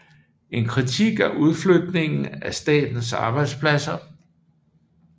En kritik af udflytningen af statens arbejdspladser